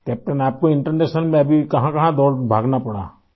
Captain آپ کو بین الاقوامی ملکوں میں ابھی کہاں تک جانے کا اتفاق ہوا ؟